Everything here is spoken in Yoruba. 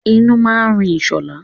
Inú máa ń rùn sọlá